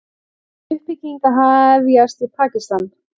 Uppbygging að hefjast í Pakistan